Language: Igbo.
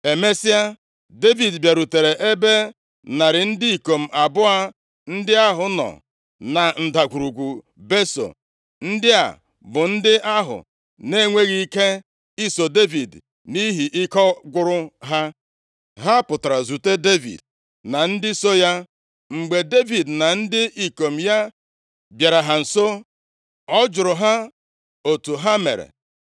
Emesịa, Devid bịarutere ebe narị ndị ikom abụọ ndị ahụ nọ na Ndagwurugwu Beso. Ndị a bụ ndị ahụ na-enweghị ike iso Devid nʼihi na ike gwụrụ ha. Ha pụtara zute Devid na ndị so ya. Mgbe Devid na ndị ikom ya bịara ha nso, ọ jụrụ ha otu ha mere.